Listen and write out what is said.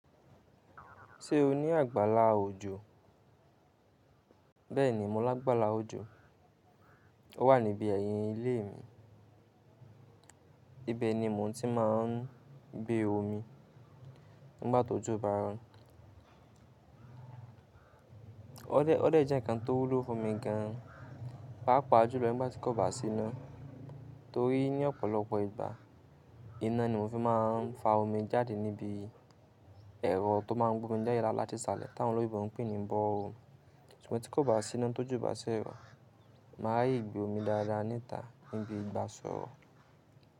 Ṣé o ní àgbàlá òjò? Bẹ́ẹ̀ni, mo lágbàlá òjò. Ó wà níbi ẹ̀yìn ilé mi. Ibe ni mò ń tí máa ń gbé omi nígbà tó jó bá rọ. Ó dẹ́, ó dẹ́ jẹ́ nǹkan tó wúlo fún mi gan. Páápàá jùlọ nígbà tí kò bá sí ná. Torí ní ọ̀pọ̀lọpọ̀ ìgbà iná ni mo fi máa ń fa omi jáde níbi ẹ̀rọ tó máa ń gbé omi dá ilé láti ìsàlẹ̀, tí àwọn olóyèbo ń pè ní borehole. Ṣùgbọ́n tí kò bá sí iná tó jó bá sí rọ, màá yí gbé omi dáadáa ni ta níbi ìgbà sọ́rọ̀.